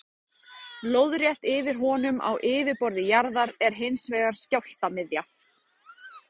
Lóðrétt yfir honum á yfirborði jarðar er hins vegar skjálftamiðja.